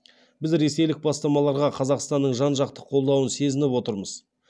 біз ресейлік бастамаларға қазақстанның жан жақты қолдауын сезініп отырмыз